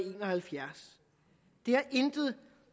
en og halvfjerds det har intet